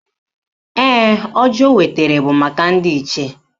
Ee, ọjị o wetara bụ maka ndị Ichie